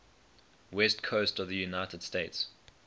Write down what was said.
west coast of the united states